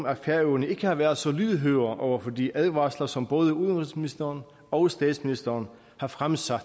at færøerne ikke havde været så lydhøre over for de advarsler som både udenrigsministeren og statsministeren har fremsat